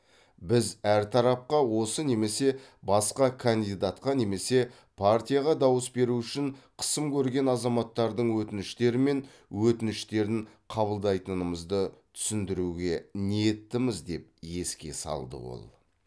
біз әр тарапқа осы немесе басқа кандидатқа немесе партияға дауыс беру үшін қысым көрген азаматтардың өтініштері менөтініштерін қабылдайтынымызды түсіндіруге ниеттіміз деп еске салды ол